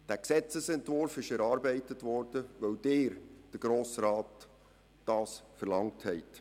Der Gesetzesentwurf wurde erarbeitet, weil Sie als Grosser Rat dies verlangt haben.